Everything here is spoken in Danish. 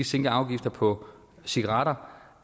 sænke afgifter på cigaretter